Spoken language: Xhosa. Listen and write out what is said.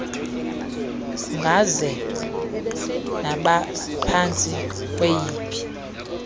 kungaze naphantsi kweyiphi